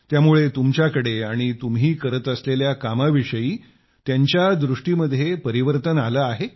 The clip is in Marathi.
त्यामुळे तुमच्याकडे आणि तुम्ही करत असलेल्या कामाविषयी त्यांच्या दृष्टीनं परिवर्तन आलं आहे